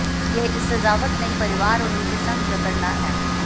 यह इस सजावट नयी परिवार और उनके संघ जकड़ना है